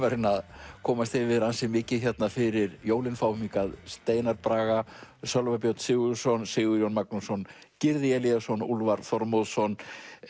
reyna að komast yfir ansi mikið fyrir jólin fáum hingað Steinar Braga Sölva Björn Sigurðsson Sigurjón Magnússon Gyrði Elíasson Úlfar Þormóðsson